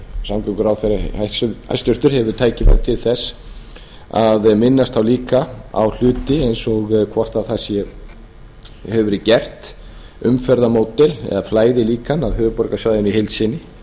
samgönguráðherra hæstvirtur hefur tækifæri til þess að minnast þá líka á hluti eins og hvort það hefur verið gert umferðarmódel eða flæðilíkan að höfuðborgarsvæðinu í heild sinni